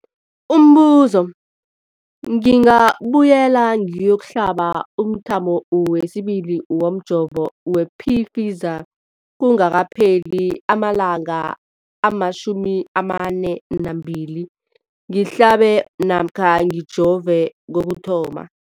Umbuzo, ngingabuyela ngiyokuhlaba umthamo wesibili womjovo we-Pfizer kungakapheli ama-42 wamalanga ngihlabe namkha ngijove kokuthoma.